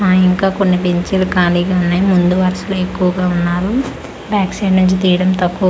ఆ ఇంకా కొన్ని బెంచీలు ఖాళీగా ఉన్నాయి ముందు వరుసలో ఎక్కువగా ఉన్నారు బ్యాక్ సైడ్ నుంచి తీయడం తక్కువ--